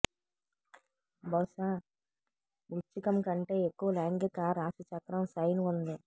బహుశా వృశ్చికం కంటే ఎక్కువ లైంగిక రాశిచక్రం సైన్ ఉంది